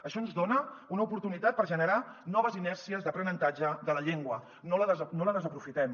això ens dona una oportunitat per generar noves inèrcies d’aprenentatge de la llengua no la desaprofitem